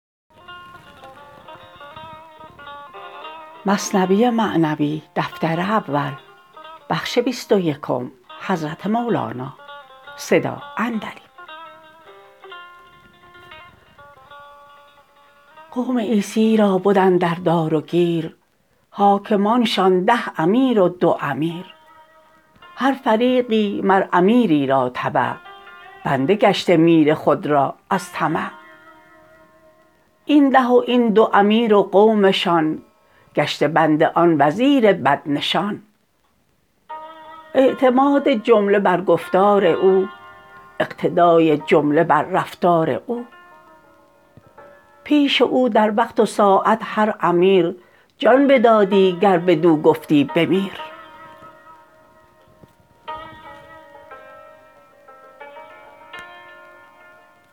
قوم عیسی را بد اندر دار و گیر حاکمانشان ده امیر و دو امیر هر فریقی مر امیری را تبع بنده گشته میر خود را از طمع این ده و این دو امیر و قومشان گشته بند آن وزیر بد نشان اعتماد جمله بر گفتار او اقتدای جمله بر رفتار او پیش او در وقت و ساعت هر امیر جان بدادی گر بدو گفتی بمیر